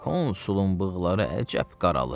Konsulun bığları əcəb qaralıb.